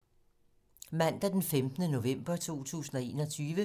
Mandag d. 15. november 2021